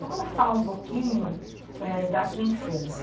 Vamos falar um pouquinho, eh, da sua infância.